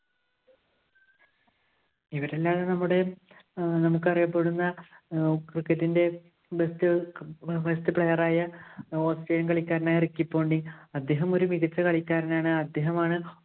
ഇവരല്ലാതെ നമ്മുടെ ഏർ നമുക്കറിയപ്പെടുന്ന cricket ഇന്‍റെ best~best player ആയ ഓസ്ട്രിയന്‍ കളിക്കാരനായ റിക്കി പോണ്ടിംഗ്. അദ്ദേഹം ഒരു മികച്ച കളിക്കാരനാണ്. അദ്ദേഹമാണ്